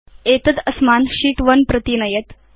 एतद् अस्मान् शीत् 1 प्रति नयेत्